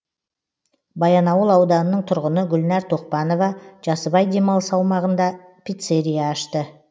баянауыл ауданының тұрғыны гүлнар тоқпанова жасыбай демалыс аумағында пиццерия ашты